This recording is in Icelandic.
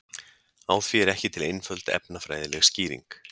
Á því er ekki til einföld efnafræðileg skýring.